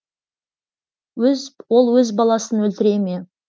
ол өз баласын өлтіре ме